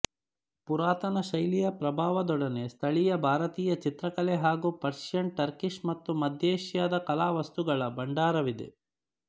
ಪುರಾತನ ಶೈಲಿಯ ಪ್ರಭಾವದೊಡನೆ ಸ್ಥಳೀಯ ಭಾರತೀಯ ಚಿತ್ರಕಲೆ ಹಾಗೂ ಪರ್ಶಿಯನ್ ಟರ್ಕಿಶ್ ಮತ್ತು ಮಧ್ಯ ಏಶಿಯಾದ ಕಲಾವಸ್ತುಗಳ ಭಂಡಾರವಿದೆ